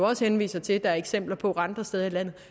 også henviser til der er eksempler på andre steder i landet